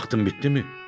Vaxtım bitdimi?